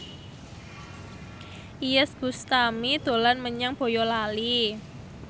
Iyeth Bustami dolan menyang Boyolali